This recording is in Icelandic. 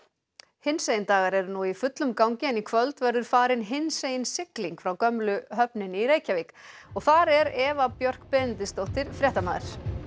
hinsegin dagar eru nú í fullum gangi en í kvöld verður farin hinsegin sigling frá gömlu höfninni í Reykjavík og þar er Eva Björk Benediktsdóttir fréttamaður